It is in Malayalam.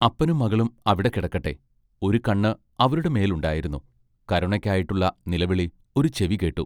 അപ്പനും മകളും അവിടെ കിടക്കട്ടെ ഒരു കണ്ണ് അവരുടെ മേൽ ഉണ്ടായിരുന്നു കരുണയ്ക്കായിട്ടുള്ള നിലവിളി ഒരു ചെവി കേട്ടു.